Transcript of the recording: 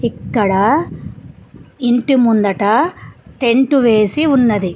ఇక్కడ ఇంటి ముందట టెంటు వేసి ఉన్నది.